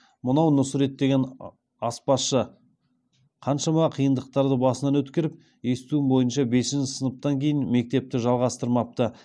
мынау нұсрет деген аспазшы қаншама қиындықтарды басынан өткеріп естуім бои ынша бесінші сыныптан кеи ін мектепті жалғастырмапты